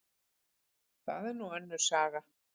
Það er nú önnur saga.